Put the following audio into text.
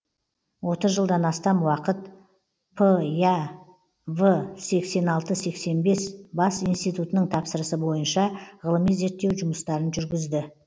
отыз жылдан астам уақыт п я в сексен алты сексен бес бас институтының тапсырысы бойынша ғылыми зерттеу жұмыстарын жүргізді